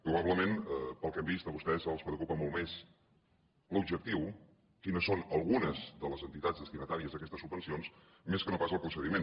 probablement pel que hem vist a vostès els preocupa molt més l’objectiu quines són algunes de les entitats destinatàries d’aquestes subvencions més que no pas el procediment